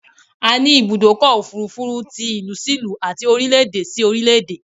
A ni Ibùdọ́kọ̀ òfurufú ti ìlú si ìlú àti orílẹ̀ èdè si orílẹ̀ èdè